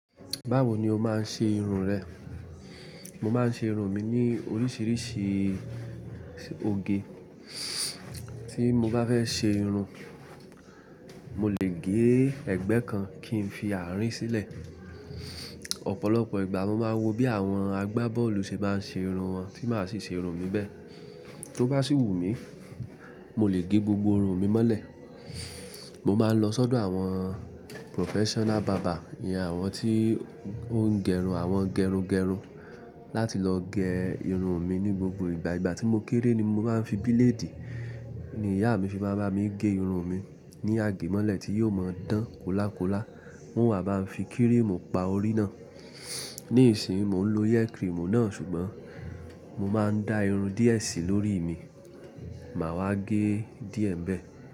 Báwo ni o máa ń ṣe irun rẹ? Mo máa ń ṣe irun mi ní oríṣiríṣi oge. Tí mo bá fẹ́ ṣe irun, mo lè gé ẹ̀gbẹ́ kan kí n fi àárín sílẹ̀. Ọ̀pọ̀lọpọ̀ ìgbà mo máa ń wo bí àwọn agbábọ́ọ̀lù ṣe bá ń ṣe irun wọn tí màá sì ṣe irun mi bẹ́ẹ̀. Tó bá sì wù mí, mo lè gé gbogbo irun mi mọ́lẹ̀. Mo máa ń lọ sọ́dọ̀ àwọn professional barber, ìyen àwọn tí ó ń gẹrun, àwọn gẹrungerun láti lọ gé irun mi ní gbogbo ìgbà. Ìgbà tí mo kéré ni mo bá ń fi bíléèdì, ni ìyá mi fi máa ń bá mi gé irun mi ní àgé mọ́lẹ̀ tí yóò máa ń dán kóla kóla. Won wa bá ń fi kírìmù pa orí náà. Nísìínyi mo ń lo hair cream náà ṣùgbọ́n mo máa ń da irun die ṣí lórí mi, màá wá gé díẹ̀ bẹ́ẹ̀.